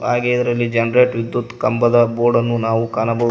ಹಾಗೆ ಇದರಲ್ಲಿ ಜನರೇಟ್ ವಿದ್ಯುತ್ ಕಂಬದ ಬೋರ್ಡ್ ಅನ್ನು ನಾವು ಕಾಣಬಹುದು.